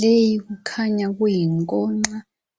Leyi kukhanya kuyigonxa